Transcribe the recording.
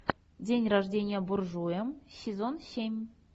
день рождения буржуя сезон семь